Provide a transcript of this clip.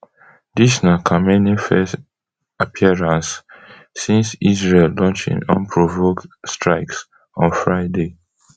dis na khamenei first appearance since israel launch im unprovoked strikes on friday